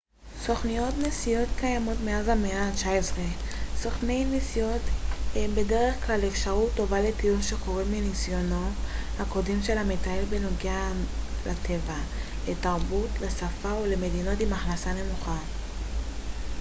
סוכנויות נסיעות קיימות מאז המאה ה-19. סוכני נסיעות הם בדרך כלל אפשרות טובה לטיול שחורג מניסיונו הקודם של המטייל בכל הנוגע לטבע לתרבות, ל שפה או למדינות עם הכנסה נמוכה